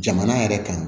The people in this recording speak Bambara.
Jamana yɛrɛ kan